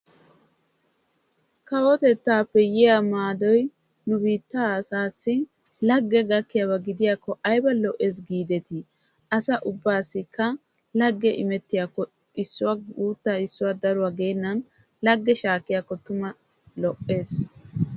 Kawotettappe yiyaa maadoy nu biittaa asaassi issippe lage gakiyakko aybba lo'i. Asaa guutta gitaa geennan muliya shaakenan gakkiyakko lo'ees.